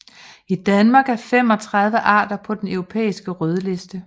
I Danmark er 35 arter på den europæiske rødliste